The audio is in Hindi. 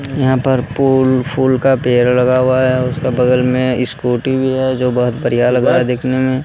यहां पर फूल फूल का पेड़ लगा हुआ है उसका बगल में स्कूटी भी है जो बहुत बढ़िया लग रहा है देखने में।